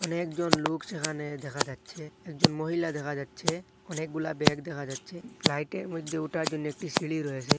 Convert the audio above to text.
অনেকজন লোক যেখানে দেখা যাচ্ছে একজন মহিলা দেখা যাচ্ছে অনেকগুলা ব্যাগ দেখা যাচ্ছে ফ্লাইটের মধ্যে ওঠার জন্য একটি সিঁড়ি রয়েসে।